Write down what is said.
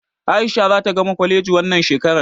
A'isha zata gama kwaleji wannan shekarar.